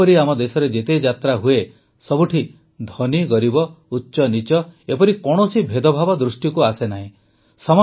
ଏପରି ଆମ ଦେଶରେ ଯେତେ ଯାତ୍ରା ହୁଏ ସବୁଠି ଧନୀଗରିବ ଉଚ୍ଚନୀଚ ଏପରି କୌଣସି ଭେଦଭାବ ଦୃଷ୍ଟିକୁ ଆସେ ନାହିଁ